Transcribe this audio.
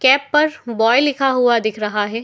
Cap पर boy लिखा हुआ दिख रहा है।